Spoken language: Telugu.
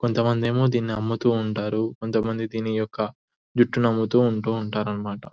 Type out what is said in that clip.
కొంత మంది ఏమో దీని అమ్ముతుంటారు. కొంత మంది దీని యొక్క జుట్టును అమ్ముతూ ఉంటూ ఉంటారన్నమట.